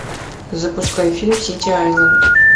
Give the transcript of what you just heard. запускай фильм сити айленд